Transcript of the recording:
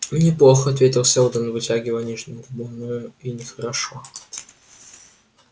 не плохо ответил сэлдон вытягивая нижнюю губу но и не хорошо